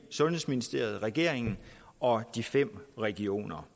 sundhedsministeriet regeringen og de fem regioner